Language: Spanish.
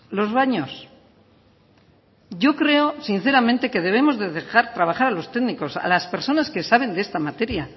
los baños yo creo sinceramente que debemos de dejar trabajar a los técnicos a las personas que saben de esta materia